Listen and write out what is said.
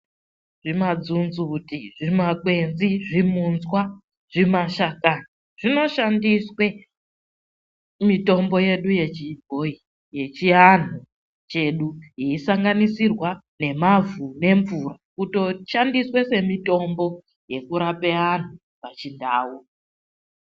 Zvimadzunzuti, zvimakwenzi, zvimunzwa, zvimashakani zvinoshandiswe mitombo yedu yechibhoyi yechiantu chedu yeisanganisirwa nemavhu ngemvura, kutoshandiswe semitombo yekurape antu pachiNdau.